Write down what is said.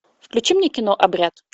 включи мне кино обряд